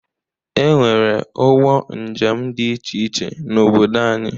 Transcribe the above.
E nwere ụgbọ njem dị iche iche n'obodo anyị